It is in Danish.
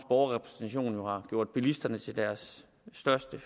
borgerrepræsentation jo har gjort bilisterne til deres største